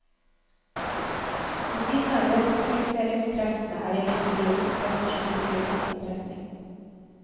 Ved siden av desentraliseringskreftene er det imidlertid også krefter som virker i motsatt retning.